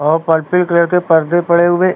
और purple colour के पर्दे पड़े हुए हैं।